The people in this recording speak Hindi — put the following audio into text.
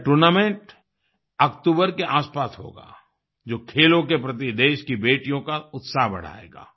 यह टूर्नामेंट अक्तूबर के आसपास होगा जो खेलों के प्रति देश की बेटियों का उत्साह बढ़ाएगा